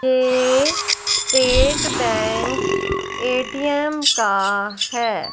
ये state bank ATM का है।